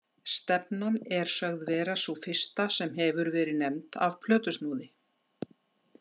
Stefnan er sögð vera sú fyrsta sem hefur verið nefnd af plötusnúði.